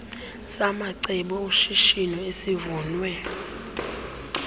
samacebo oshishino esivunywe